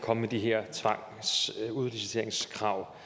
at komme med de her krav